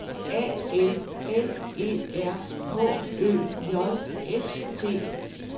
A L L E R H Ø J S T